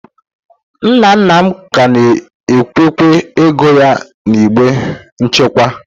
Nna nna m ka na-echekwa ego ya n'igbe nchekwa.